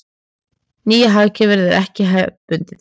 Nýja hagkerfið er ekki hefðbundið.